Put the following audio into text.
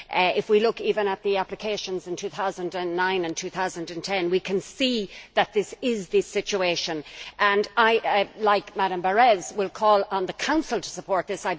If we look even at the applications in 2009 and 2010, we can see that this is the situation and I, like Madam Berès, will call on the Council to support this.